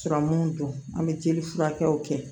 don an bɛ jeli furakɛw kɛ